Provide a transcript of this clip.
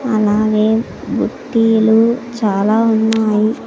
అలాగే బుట్టీలు చాలా ఉన్నాయి.